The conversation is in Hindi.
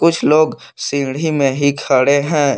कुछ लोग सीढ़ी में ही खड़े हैं।